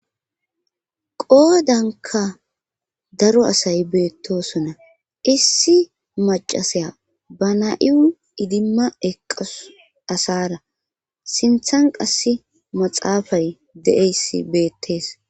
Qoodanka daro asay beettosona issi macasaya ba na7iu idimma eqas asara sinthan qass maxaafay de7eyssi beettees.